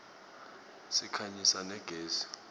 sikhanyisa na gezi